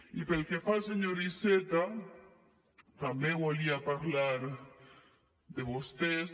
i pel que fa a l senyor iceta també volia parlar de vostès